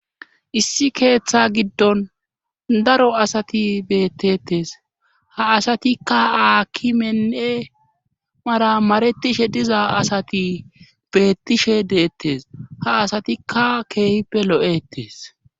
issi keeththa giddon daro asati beettettes ha asatikka aaki mennee mara maretishe diza asati beettishe deettes ha asatikka keehippe lo7ettes